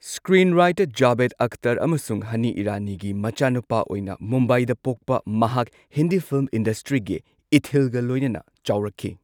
Screenwriter Javed Akhtar ꯑꯃꯁꯨꯡ ꯍꯅꯤ ꯏꯔꯥꯅꯤꯒꯤ ꯃꯆꯥꯅꯨꯄꯥ ꯑꯣꯢꯅ ꯃꯨꯝꯕꯥꯏꯗ ꯄꯣꯛꯄ ꯃꯍꯥꯛ ꯍꯤꯟꯗꯤ ꯐꯤꯜꯝ ꯏꯟꯗꯁꯇ꯭ꯔꯤꯒꯤ ꯏꯊꯤꯜꯒ ꯂꯣꯢꯅꯅ ꯆꯥꯎꯔꯛꯈꯤ꯫